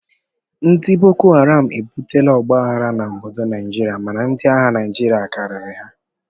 Ndị bokoharam ebutela ọgba aghara n'obodo Naijiria mana ndi agha Naijiria karịrị ha